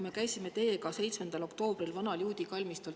Me käisime teiega 7. oktoobril vanal juudi kalmistul.